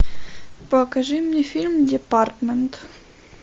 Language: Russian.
покажи мне фильм департмент